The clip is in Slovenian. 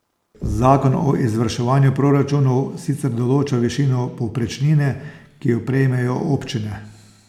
Zakon o izvrševanju proračunov sicer določa višino povprečnine, ki jo prejmejo občine.